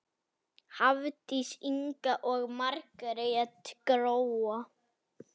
Hafdís Inga og Margrét Gróa.